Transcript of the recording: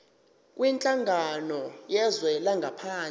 kwinhlangano yezwe langaphandle